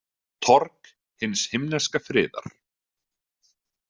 Torg hins himneska friðar